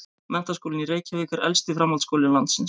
Menntaskólinn í Reykjavík er elsti framhaldsskóli landsins.